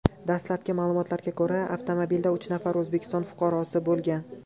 Dastlabki ma’lumotlarga ko‘ra, avtomobilda uch nafar O‘zbekiston fuqarosi bo‘lgan.